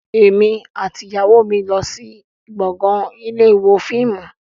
Èmi àti ìyàwó mi yóò lọ sí gbọ̀ngàn ilé ìwo fíìmù